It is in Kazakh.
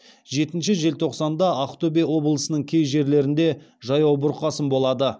жетінші желтоқсанда ақтөбе облысының кей жерлерінде жаяу бұрқасын болады